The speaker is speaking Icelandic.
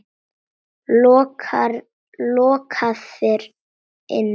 Lokaðir inni?